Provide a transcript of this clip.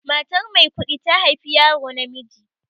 Matar Maikuɗi ta haifi yaro namiji.